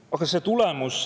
Aga see tulemus …